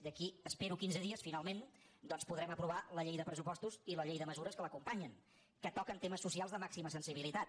d’aquí a espero quinze dies finalment doncs podrem aprovar la llei de pressupostos i la llei de mesures que l’acompanyen que toquen temes socials de màxima sensibilitat